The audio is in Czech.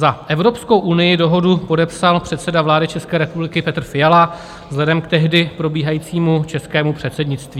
Za Evropskou unii dohodu podepsal předseda vlády České republiky Petr Fiala vzhledem k tehdy probíhajícímu českému předsednictví.